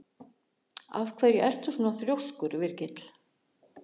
Af hverju ertu svona þrjóskur, Virgill?